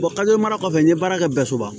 mara kɔfɛ n ye baara kɛ bɛɛ soba